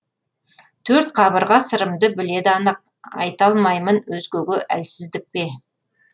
төрт қабырға сырымды біледі анық айталмаймын өзгеге әлсіздік пе